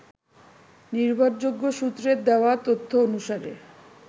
নিভরযোগ্য সূত্রের দেওয়া তথ্য অনুসারে